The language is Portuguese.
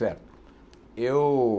Certo. Eu